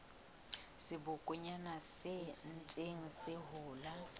sebokonyana se ntseng se hola